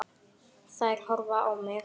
Þær horfa á mig.